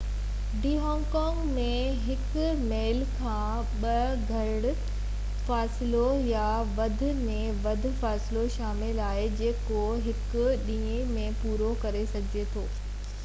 D hiking ۾ هڪ ميل کان به گھٽ مفاصلو يا وڌ ۾ وڌ مفاصلو شامل آهي جيڪو هڪ ڏينهن ۾ پورو ڪري سگهجي ٿو